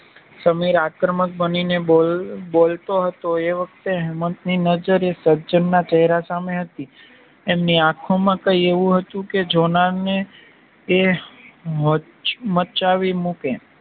સમીર આક્રમક બની ને બોલતો હતો એ વખતે હેમંતની નજર એ સજ્જનના ચેહરા સામે હતી. એમની આખો માં કઈ એવું હતું કે જોનારને એ મચાવી મૂકે